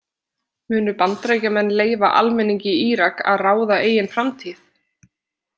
Munu Bandaríkjamenn leyfa almenningi í Írak að ráða eigin framtíð?